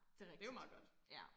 Det rigtigt ja